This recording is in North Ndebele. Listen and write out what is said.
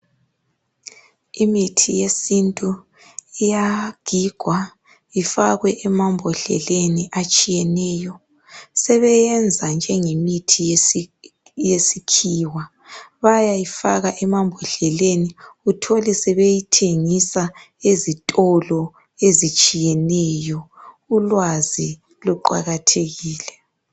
Imithi yesintu iyagigwa ifakwe emambodleleni atshiyeneyo. Sebeyenza njengemithi yesikhiwa. Bayayifaka emambodleleni. Uthole sebeyithengisa, ezitolo ezitshiyeneyo. Ulwazi luqakathekile.